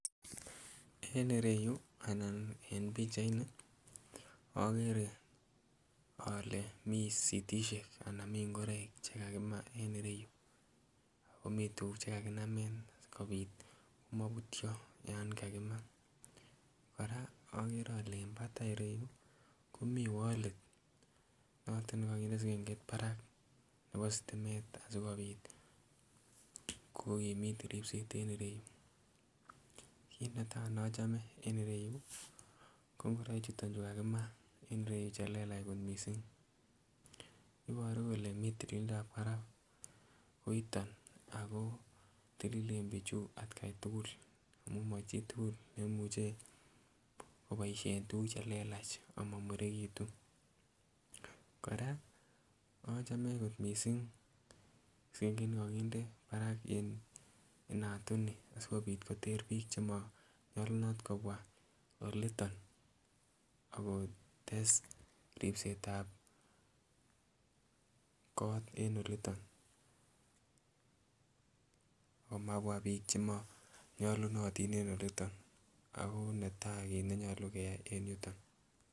En ireyu anan en pichait ni okere ole mi sitishek anan mii ngoroik chekakimaa en ireyu akomii tuguk chekakinamen sikobit komobutyo yan kakimaa. Kora okere ole en batai ireyu komii wolit noton nekokinde sigengeit barak nebo stimet asikobit kokimit ripset en ireyu. Kit netaa nochome en ireyu ko ngoroik chuton chekakimaa en ireyu chelelach kot missing, iboru kole mi tililindab barak koiton ako tililen bichu atkai tugul amun machitugul nemuche koboisien tuguk chelelach ama murekitun. Kora achome kot missing sigengeit nekokinde barak en inatuni sikobit koter biik chemonyolunot kobwa oliton akotes ripset ab kot en oliton amabwa biik chemonyolunotin en oliton ako netaa kit nenyolu keyai en yuton